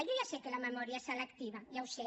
jo ja sé que la memòria és selectiva ja ho sé